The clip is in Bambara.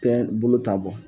Tɛ bolo ta bɔ.